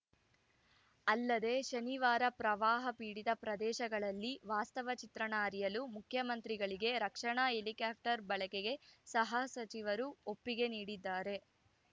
ಅಲ್ಲದೆ ಶನಿವಾರ ಪ್ರವಾಹಪೀಡಿತ ಪ್ರದೇಶಗಳಲ್ಲಿ ವಾಸ್ತವ ಚಿತ್ರಣ ಅರಿಯಲು ಮುಖ್ಯಮಂತ್ರಿಗಳಿಗೆ ರಕ್ಷಣಾ ಹೆಲಿಕ್ಟಾಪರ್‌ ಬಳಕೆಗೆ ಸಹ ಸಚಿವರು ಒಪ್ಪಿಗೆ ನೀಡಿದ್ದಾರೆ